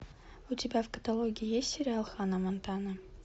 у тебя в каталоге есть сериал ханна монтана